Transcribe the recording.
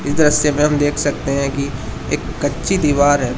दृश्य में हम देख सकते हैं कि एक कच्ची दीवार है।